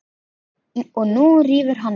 Og nú rífur hann í.